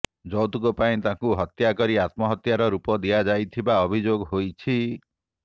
ଯୌତୁକ ପାଇଁ ତାଙ୍କୁ ହତ୍ୟା କରି ଆତ୍ମହତ୍ୟାର ରୂପ ଦିଆଯାଇଥିବା ଅଭିଯୋଗ ହୋଇଛି